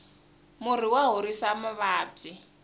murhi wa horisa mavabyi